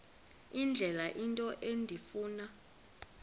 indlela into endifuna